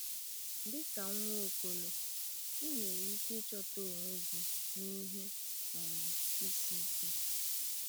Dịka Nwaokolo, ị nwere ike ịchọta onwe gị n’ihe um isi ike.